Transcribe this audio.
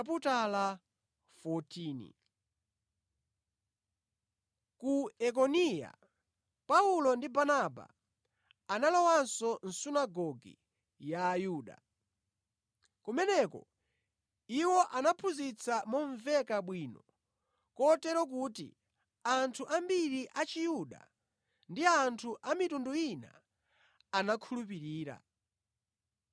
Ku Ikoniya, Paulo ndi Barnaba analowanso mʼsunagoge ya Ayuda. Kumeneko iwo anaphunzitsa momveka bwino kotero kuti anthu ambiri Achiyuda ndi anthu a mitundu ina anakhulupirira.